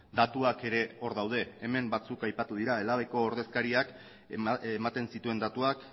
datuak ere hor daude hemen batzuk aipatu dira elhabeko ordezkariak ematen zituen datuak